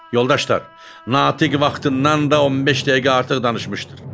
Yoldaşlar, Natiq vaxtından da 15 dəqiqə artıq danışmışdır.